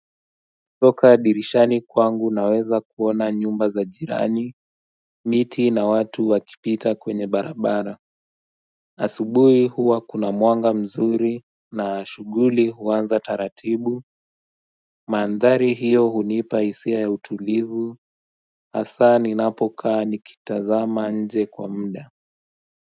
Toka dirishani kwangu naweza kuona nyumba za jirani miti na watu wakipita kwenye barabara asubuhi huwa kuna mwanga mzuri na shuguli huanza taratibu maandhari hiyo hunipa isia ya utulivu asa ni napokaa nikitazama nje kwa mda.